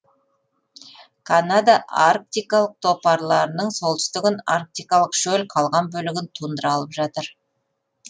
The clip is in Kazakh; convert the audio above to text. канада арктикалық топарларының солтүстігін арктикалық шөл қалған бөлігін тундра алып жатыр